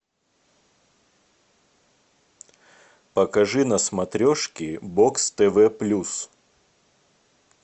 покажи на смотрешке бокс тв плюс